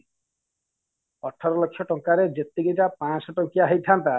ଅଠର ଲକ୍ଷ ଟଙ୍କା ରେ ଯେତିକି ଟା ପାଞ୍ଚଶହ ଟଙ୍କିଆ ହେଇଥାନ୍ତା